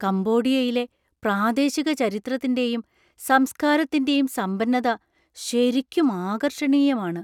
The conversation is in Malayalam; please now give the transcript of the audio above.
കംബോഡിയയിലെ പ്രാദേശിക ചരിത്രത്തിന്‍റെയും സംസ്കാരത്തിന്‍റെയും സമ്പന്നത ശരിക്കും ആകർഷണീയമാണ്.